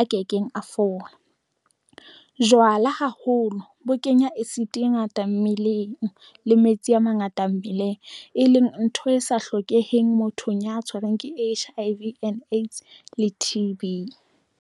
a ke keng a fola jwala haholo bo kenya acid ngata mmeleng le metsi a mangata mmeleng e leng ntho e sa hlokeheng mothong ya tshwarang ke H_I_V and AIDS le T_B.